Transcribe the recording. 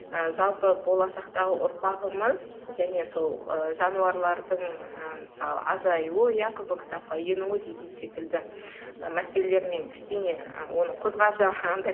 ы жалпы болашақтағы ұрпағымыз және сол ы жануарлардың ы мысалы азаюы иә қызыл кітапқа енуі деген секілді мәселелермен кішкене оны қозғап жаңағындай